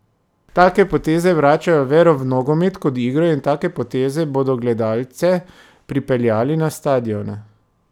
Take poteze vračajo vero v nogomet kot igro in take poteze bodo gledalce pripeljali na stadione.